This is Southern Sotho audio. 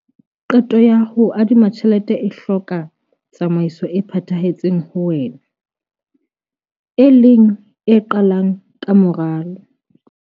Qeto ya ho adima tjhelete e hloka tsamaiso e phethahetseng ho wena, e leng e qalang ka moralo.